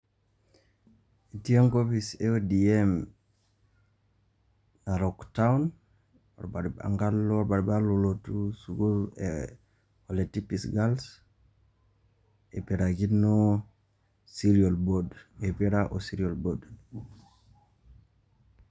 Etii enkopis e ODM Narok Town enkalo orbaribara lolotu sukuul e Ole Tipis Girls ipirakino Serial Board, ipira o Serial Board.